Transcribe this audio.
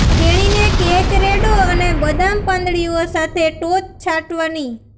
તેણીને કેક રેડો અને બદામ પાંદડીઓ સાથે ટોચ છાંટવાની